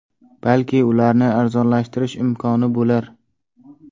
Balki ularni arzonlashtirish imkoni bo‘lar.